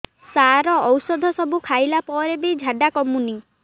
ସାର ଔଷଧ ସବୁ ଖାଇଲା ପରେ ବି ଝାଡା କମୁନି